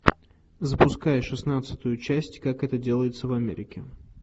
запускай шестнадцатую часть как это делается в америке